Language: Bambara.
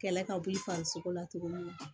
Kɛlɛ ka wuli farisogo la tuguni